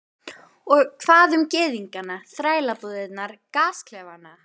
Og hvað um gyðingana, þrælabúðirnar, gasklefana?